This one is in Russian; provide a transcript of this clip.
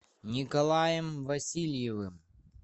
николаем васильевым